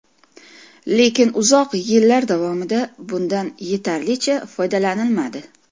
Lekin uzoq yillar davomida bundan yetarlicha foydalanilmadi.